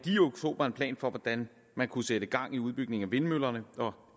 i oktober en plan for hvordan man kunne sætte gang i udbygningen af vindmøller og